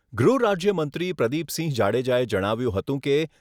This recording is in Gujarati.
ગૃહ રાજ્ય મંત્રી પ્રદીપસિંહ જાડેજા એ જણાવ્યું હતું કે